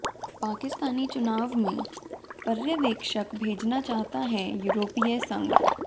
पाकिस्तानी चुनाव में पर्यवेक्षक भेजना चाहता है यूरोपीय संघ